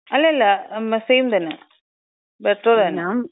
അല്ലല്ല സെയിം തന്നെ, പെട്രോള് തന്നെ.